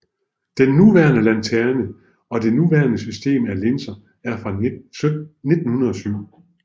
Den nuværende lanterne og det nuværende system af linser er fra 1907